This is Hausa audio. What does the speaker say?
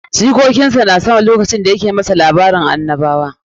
Jikokin sa na son duk lokacin da ya ke musu labarin tarihin annabawa.